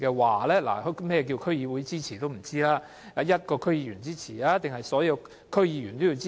我們也不知道，是需要一個區議員支持還是所有區議員的支持？